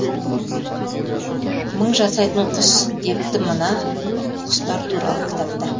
мың жасайтын құс депті мына құстар туралы кітапта